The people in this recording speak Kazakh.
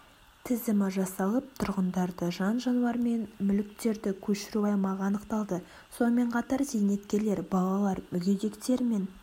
тізімі жасалып тұрғындарды жан-жануар мен мүліктерді көшіру аймағы анықталды сонымен қатар зейнеткерлер балалар мүгедектер мен